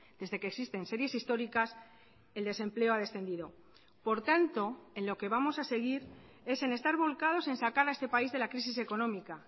desde que existen series históricas el desempleo ha descendido por tanto en lo que vamos a seguir es en estar volcados en sacar a este país de la crisis económica